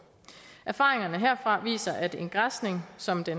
erfaringerne herfra viser at en græsning som der